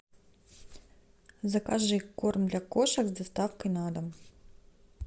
закажи корм для кошек с доставкой на дом